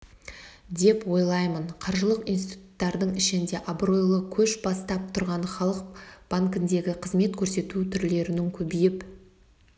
деп ойлаймын қаржылық институттардың ішінде абыройлы көш бастап тұрған халық банкіндегі қызмет көрсету түрлерінің көбейіп